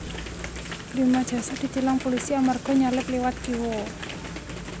Prima Jasa ditilang pulisi amarga nyalip liwat kiwo